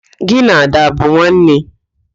Gị na Ada abụ nwanne?